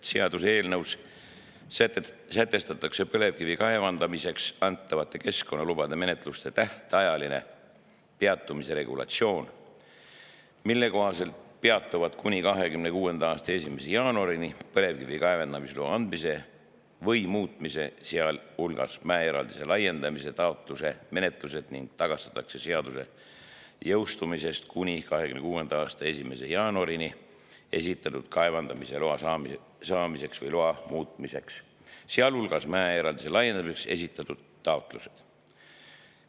Seaduseelnõus sätestatakse põlevkivi kaevandamiseks antavate keskkonnalubade menetluste tähtajalise peatamise regulatsioon, mille kohaselt peatuvad kuni 2026. aasta 1. jaanuarini põlevkivi kaevandamisloa andmise või muutmise, sealhulgas mäeeraldise laiendamise taotluse menetlused ning tagastatakse seaduse jõustumisest kuni 2026. aasta 1. jaanuarini esitatud kaevandamisloa saamiseks või loa muutmiseks, sealhulgas mäeeraldise laiendamiseks esitatud taotlused.